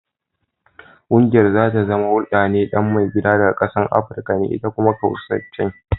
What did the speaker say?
Kungiyar za ta zama huldade dan maigidan daga kasan Africa ne ita kuma Kaucasian.